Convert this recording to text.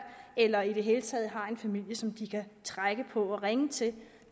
eller i det hele taget har en familie som de kan trække på og ringe til